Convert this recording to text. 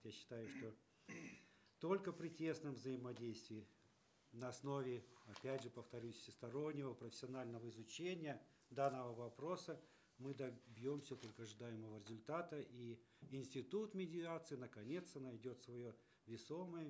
я считаю что только при тесном взаимодействии на основе опять же повторюсь всестороннего профессионального изучения данного вопроса мы добьемся только ожидаемого результата и институт медиации наконец то найдет свое весомое